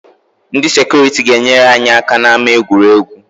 Ndị sekuriti ga-enyere anyị aka n’ama egwuregwu